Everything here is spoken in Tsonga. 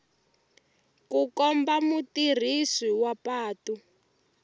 ku komba mutirhisi wa patu